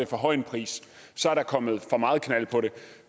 for høj en pris så er der kommet for meget knald på det